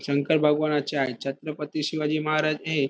शंकर भगवानाच्या आहे छत्रपती शिवाजी महाराज हे--